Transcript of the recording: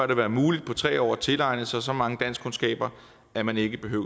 det være muligt på tre år at tilegne sig så mange danskkundskaber at man ikke behøver